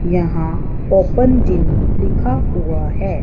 यहां open gym लिखा हुआ है।